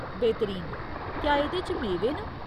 बेहतरीन ! क्या एह्दे च मेवे न ?